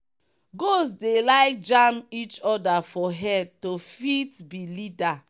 goats dey like jam each other for head to fit be leader.